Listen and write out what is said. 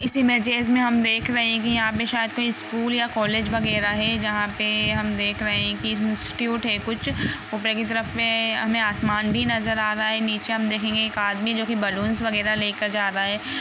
इसमें हम देख रहे सायद इसपे स्कुल या तो कोलेज वगेरा है जहा पे हम देख रहे है की स्कुट है खुच उपर की तरफ आसमान भी नज़र आ रहा है नीचे हम देखंगे की एक आदमी बलून वगेरा लेके जा रहा है।